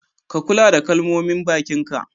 Ka Kulla da kalmomin bakin ka.